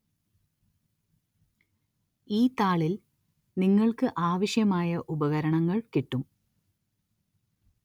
ഈ താളില്‍ നിങ്ങള്‍ക്ക് ആവശ്യമായ ഉപകരണങ്ങള്‍ കിട്ടും